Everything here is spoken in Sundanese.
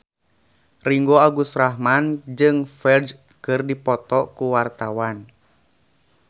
Ringgo Agus Rahman jeung Ferdge keur dipoto ku wartawan